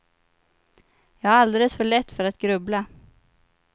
Jag har alldeles för lätt för att grubbla.